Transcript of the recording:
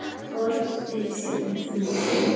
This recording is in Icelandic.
Forseti sleit síðan fundi.